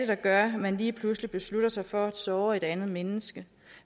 der gør at man lige pludselig beslutter sig for at såre et andet menneske